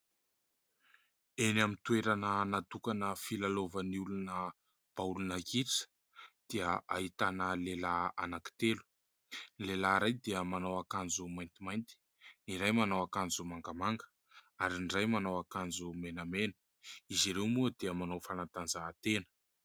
Eny amin'ny toerana natokana filalaovan'ny olona baolina kitra dia ahitana lehilahy ananky telo. Ny lehilahy iray dia manao akanjo maintimainty, ny iray manao akanjo mangamanga ary ny iray manao akanjo menamena. Izy ireo moa dia manao fanatanjahatena.